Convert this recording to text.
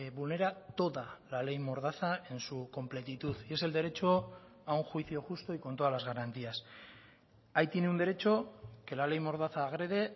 vulnera toda la ley mordaza en su completitud y es el derecho a un juicio justo y con todas las garantías ahí tiene un derecho que la ley mordaza agrede